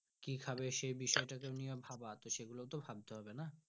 কি খাবে সেই বিষয় তা নিয়ে ভাবা সেগুলো তো ভাবতে হবে না।